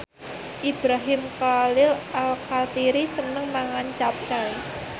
Ibrahim Khalil Alkatiri seneng mangan capcay